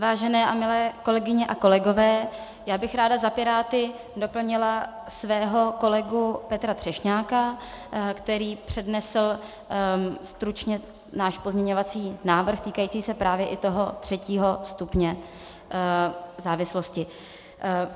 Vážené a milé kolegyně a kolegové, já bych ráda za Piráty doplnila svého kolegu Petra Třešňáka, který přednesl stručně náš pozměňovací návrh týkající se právě i toho třetího stupně závislosti.